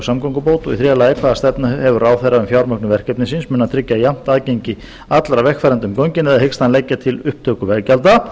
samgöngubót þriðja hvaða stefnu hefur ráðherra um fjármögnun verkefnisins mun hann tryggja jafnt aðgengi allra vegfarenda um göngin eða hyggst hann leggja til upptöku veggjalda